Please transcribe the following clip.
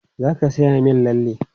Za ka sayan min lalle?